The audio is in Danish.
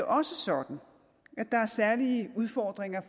også sådan at der er særlige udfordringer